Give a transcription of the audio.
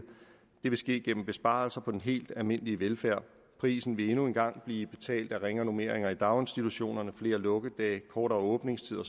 det vil ske gennem besparelser på den helt almindelige velfærd prisen vil endnu en gang blive betalt af ringere normeringer i daginstitutionerne flere lukkedage kortere åbningstider